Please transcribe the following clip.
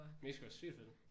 Mexico er sygt fed